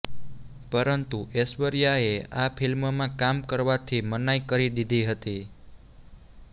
પરંતુ ઐશ્વર્યા એ આ ફિલ્મ માં કામ કરવાથી મનાઈ કરી દીધી હતી